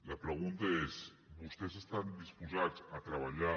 la pregunta és vostès estan disposats a treballar